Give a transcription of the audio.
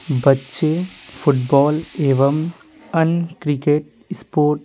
बच्चे फुटबॉल एवं अन क्रिकेट स्पोर्ट --